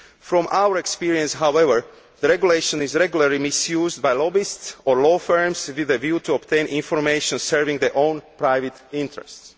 From our experience, however, the regulation is regularly misused by lobbyists or law firms with a view to obtaining information serving their own private interests.